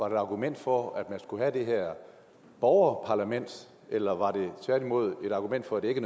et argument for at man skulle have det her borgerparlament eller var det tværtimod et argument for at det ikke